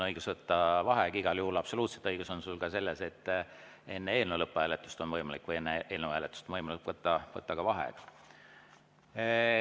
Igal juhul absoluutselt õigus on sul selles, et ka enne eelnõu lõpphääletust või enne eelnõu hääletust on võimalik võtta vaheaeg.